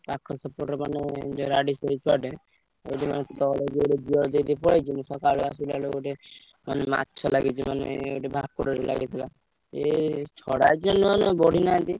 ସେପଟେ ଛୁଆଟେ ମାନେ ମାଛ ଲାଗିଛି ମାନେ ଭାକୁର ଟେ ଲାଗିଥିଲା ଏଇ ଛଡା ଯିଏ ମାନେ ବଢିନାହାନ୍ତି।